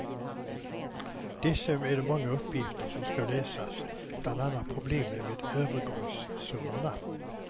Dessutom är det många uppgifter som ska lösas, bland annat problemet med övergångssummorna.